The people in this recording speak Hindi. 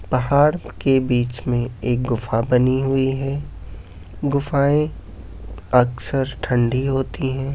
पहाड़ के बीच में एक गुफा बनी हुई है। गुफाएं अक्सर ठंडी होती हैं।